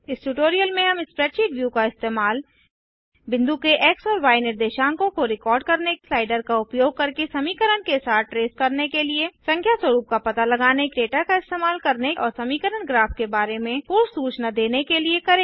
इस ट्यूटोरियल में हम स्प्रैडशीट व्यू का इस्तेमाल बिंदु के एक्स और य निर्देशांकों को रिकॉर्ड करने स्लाइडर का उपयोग करके समीकरण के साथ ट्रैस करने के लिए संख्या स्वरुप का पता लगाने डेटा का इस्तेमाल करने और समीकरण ग्राफ के बारे में पूर्व सूचना देने के लिए करेंगे